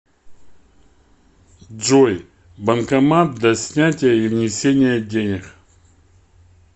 джой банкомат для снятия и внесения денег